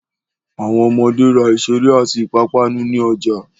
Àwọn ọmọde ra ìṣeré àti ìpápánu ní ọjà.